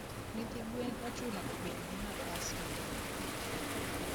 nyithi gwen ochuno obed gi nafas maduong